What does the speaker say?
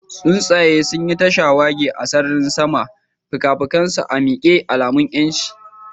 Tsuntsaye sun yi ta shawagi a sararin sama, fikafikansu a miƙe, alamun 'yanci.